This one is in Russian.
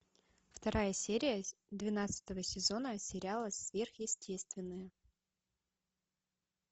вторая серия двенадцатого сезона сериала сверхъестественное